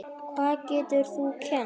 Hvað getur þú kennt?